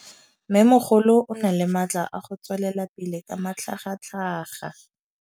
Mmêmogolo o na le matla a go tswelela pele ka matlhagatlhaga.